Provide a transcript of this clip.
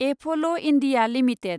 apple India limited